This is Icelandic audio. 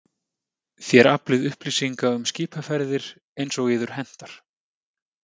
Þér aflið upplýsinga um skipaferðir einsog yður hentar.